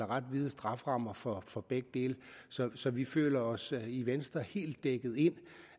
ret vide strafferammer for for begge dele så vi føler os i venstre helt dækket ind